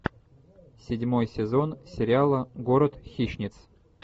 седьмой сезон сериала город хищниц